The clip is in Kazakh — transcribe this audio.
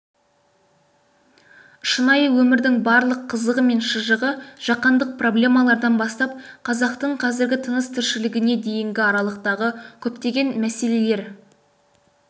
шынайы өмірдің барлық қызығы мен шыжығы жаһандық проблемалардан бастап қазақтың қазіргі тыныс-тіршілігіне дейінгі аралықтағы көптегенмәселелер